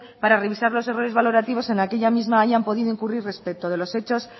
para revisar los errores valorativos en aquella misma hayan podido incurrir respecto de los hechos